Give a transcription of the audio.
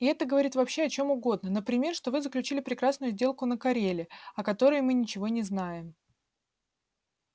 и это говорит вообще о чём угодно например что вы заключили прекрасную сделку на кореле о которой мы ничего не знаем